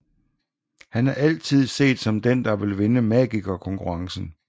Han er altid set som den der vil vinde Magikerkonkurrencen